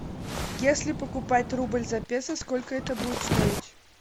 если покупать рубль за песо сколько это будет стоить